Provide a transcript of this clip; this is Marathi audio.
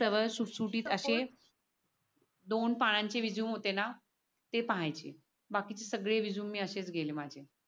सरळ सुठ सुठीत असे दोन पनान चे रेझूमे होते ना ते पहायचे बाकीचे सगळे अशेच गेले.